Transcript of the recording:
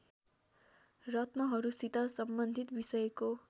रत्नहरूसित सम्बन्धित विषयको